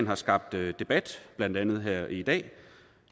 har skabt debat blandt andet her i dag